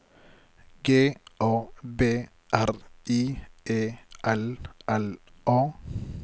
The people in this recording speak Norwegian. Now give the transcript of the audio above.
G A B R I E L L A